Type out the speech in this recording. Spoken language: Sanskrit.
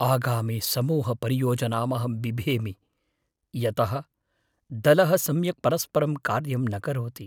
आगामिसमूहपरियोजनामहं बिभेमि यतः दलः सम्यक् परस्परं कार्यं न करोति।